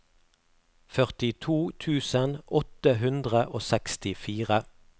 førtito tusen åtte hundre og sekstifire